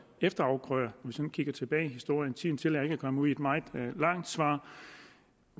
efterafgrøder hvis man kigger tilbage i historien tiden tillader ikke at komme ud i et meget langt svar